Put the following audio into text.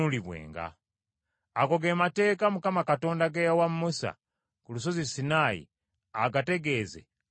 Ago ge mateeka Mukama Katonda ge yawa Musa ku lusozi Sinaayi agategeeze abaana ba Isirayiri.